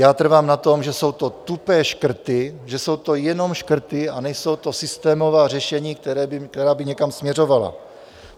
Já trvám na tom, že jsou to tupé škrty, že jsou to jenom škrty a nejsou to systémová řešení, která by někam směřovala.